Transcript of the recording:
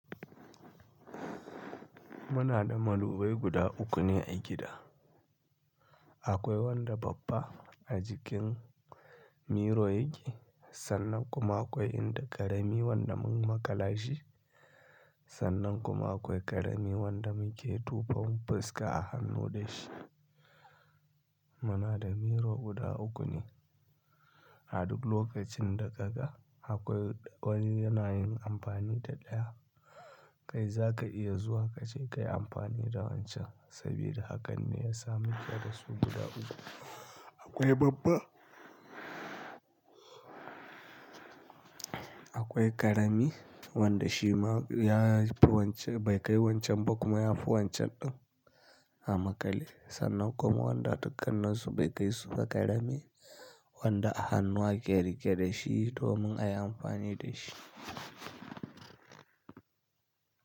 Muna da madubai guda uku ne a gida. Akwai wanda babba a jikin miro yake, sannan kuma akwai inda ƙarami wanda mun makala shi, sannan kuma akwai ƙarami wanda muke tufafon fuska a hannu da shi. Muna da miro guda uku ne. A duk lokacin da ka ga akwai wani yana yin amfani da ɗaya, kai za ka iya zuwa ka je ka yi amfani da wancan saboda hakan ne ya sa muke da su guda uku. Akwai babba, akwai ƙarami wanda shi ma ya fi wancan bai kai wancan ba kuma ya fi wancan ɗin amakale, sannan kuma wanda dukaninsu bai kai suba karami. Wanda a hannu ake riƙe da shi domin a yi amfani da shi.